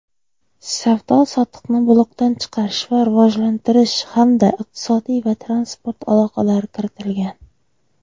savdo-sotiqni blokdan chiqarish va rivojlantirish hamda iqtisodiy va transport aloqalari kiritilgan.